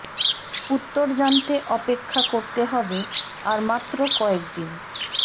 উত্তর জানতে অপেক্ষা করতে হবে আর মাত্র কয়েকদিন